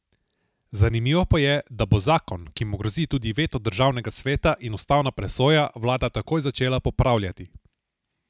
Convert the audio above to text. Zanimivo pa je, da bo zakon, ki mu grozi tudi veto državnega sveta in ustavna presoja, vlada takoj začela popravljati.